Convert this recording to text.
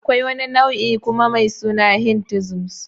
Akwai wani nau'in kuma mai suna Hinduism.